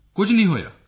ਕੁਝ ਨਹੀਂ ਹੋਇਆ